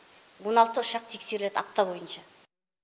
он алты ұшақ тексереді апта бойынша